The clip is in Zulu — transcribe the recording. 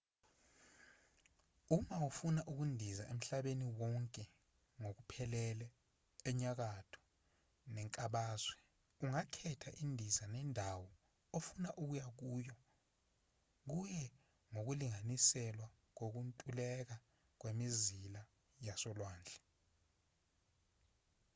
uma ufuna ukundiza emhlabeni wonke ngokuphelele enyakatho nenkabazwe ungakhetha izindiza nendawo ofuna ukuya kuyo kuye ngokulinganiselwa kokuntuleka kwemizila yasolwandle